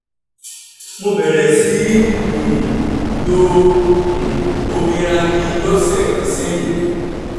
mo bẹ̀rẹ̀ sí í um lo um omi ragi lósẹ̀ kan sẹ́yìn